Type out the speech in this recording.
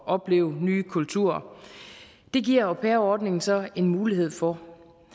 opleve nye kulturer det giver au pair ordningen så en mulighed for